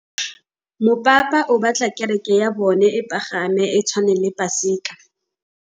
Mopapa o batla kereke ya bone e pagame, e tshwane le paselika.